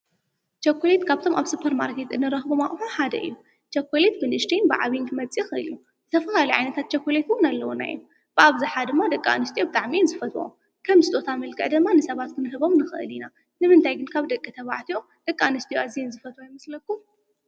ቸኮሌት ካብቶም ኣብ ሱፐርማርከት እንረኽቦም ኣቑሑ ሓደ እዩ፡፡ ቸኮሌት ብንኡሽተይን ብዓይን ክመፅእ ይኽእል እዩ፡፡ ዝተፈላለዩ ዓይነት ቸኮሌት እውን ኣለዉና እዮም፡፡ ኣብዝሓ ድማ ደቂ ኣንስትዮ ብጣዕሚ እየን ዝፈትውኦ፡፡ ከም ስጦታ መልክዕ ድማ ንሰባት ክንህቦም ንኽእል ኢና፡፡ ንምንታይ ካብ ደቂ ተባዕትዮ ደቂ ኣንስትዮ ኣዝየን ዝፈትውኦ ይመስለኩም?